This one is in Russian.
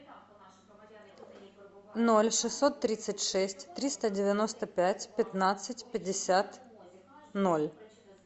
ноль шестьсот тридцать шесть триста девяносто пять пятнадцать пятьдесят ноль